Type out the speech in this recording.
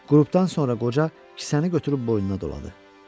Qurudandan sonra qoca kisəni götürüb boynuna doladı.